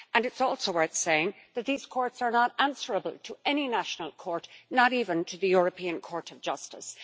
It's also worth saying that these courts are not answerable to any national court not even to the European Court of Justice.